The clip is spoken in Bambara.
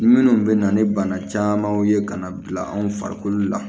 Minnu bɛ na ni bana camanw ye ka na bila anw farikolo la